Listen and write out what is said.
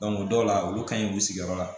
dɔw la olu ka ɲi k'u sigiyɔrɔ la